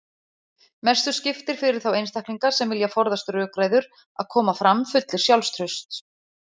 Mestu skiptir fyrir þá einstaklinga sem vilja forðast rökræður að koma fram fullir sjálfstrausts.